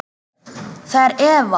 Það er Eva.